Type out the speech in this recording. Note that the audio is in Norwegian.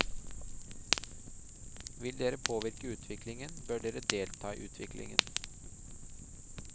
Vil dere påvirke utviklingen, bør dere delta i utviklingen.